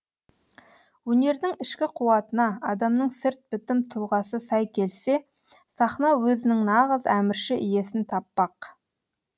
өнердің ішкі қуатына адамның сырт бітім тұлғасы сай келсе сахна өзінің нағыз әмірші иесін таппақ